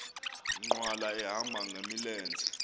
nkqwala ehamba ngamlenze